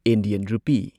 Indian rupee